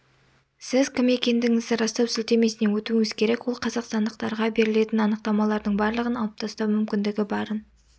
сіз кім екендігіңізді растау сілтемесіне өтуіңіз керек ол қазақстандықтарға берілетін анықтамалардың барлығын алып тастау мүмкіндігі барын